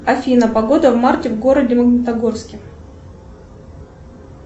афина погода в марте в городе магнитогорске